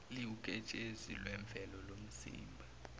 liwuketshezi lwemvelo lomzimba